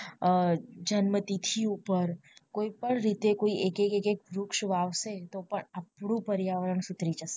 જન્મ તિથિ ઉપર કોઈ પણ રીતે એકેકેકેક વૃક્ષ વાવશે તો પણ આપણું પર્યાવરણ સુધરી જશે